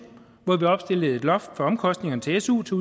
hvor vi opstillede et loft for omkostningerne til su til